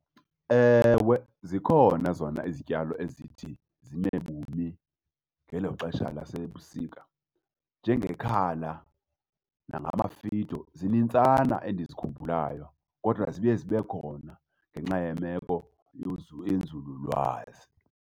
Ewe, zikhona zona izityalo ezithi zimebumi ngelo xesha lasebusika njengekhala nangamafido. Zinintsana endizikhumbula kodwa ziye zibe khona ngenxa yemeko yenzululwazi.